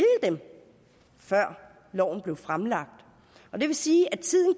dem før loven blev fremlagt og det vil sige at tiden